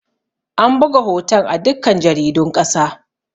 An buga hoton a dukkan jaridun ƙasa